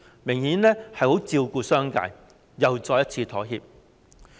明顯地，政府十分照顧商界，又再一次妥協。